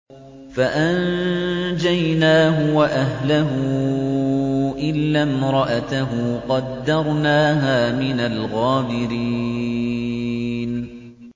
فَأَنجَيْنَاهُ وَأَهْلَهُ إِلَّا امْرَأَتَهُ قَدَّرْنَاهَا مِنَ الْغَابِرِينَ